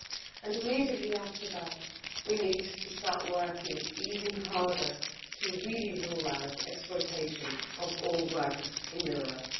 And immediately after that, we need to start working even harder to really rule out exploitation of all workers in Europe.